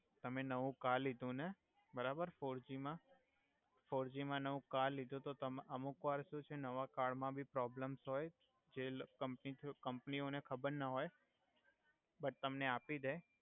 તમે નવુ કાર્ડ લિધુ ને બરાબર ફોરજી મા નવુ કર્ડ ફોરજી મા નવુ કાર્ડ લિધુ તો તમા અમુક વાર શુ છે નવા કર્ડ મા ભી પ્રોબ્લમસ હોય જે લ કમ્પની થ્રુ કમ્પની ઓ ને ખબર ના હોય બટ તમને આપી દે